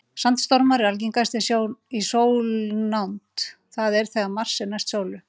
Sandstormar eru algengastir í sólnánd, það er þegar Mars er næst sólu.